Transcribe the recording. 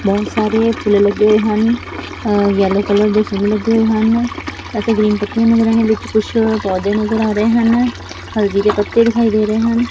ਬਹੁਤ ਸਾਰੇ ਪੇੜ ਲੱਗੇ ਹੋਏ ਹਨ ਯੈਲੋ ਕਲਰ ਦੇ ਫੁੱਲ ਲੱਗੇ ਹਨ ਅਤੇ ਗ੍ਰੀਨ ਪੱਤੀਆਂ ਲੱਗੀਆਂ ਨੇ ਵਿੱਚ ਕੁਛ ਪੌਦੇ ਨਜ਼ਰ ਆ ਰਹੇ ਹਨ ਹਲਦੀ ਕੇ ਪੱਤੇ ਦਿਖਾਈ ਦੇ ਰਹੇ ਹਨ।